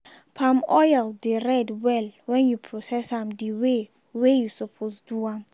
palm oil dey red well wen you process am d way wey you suppose do am.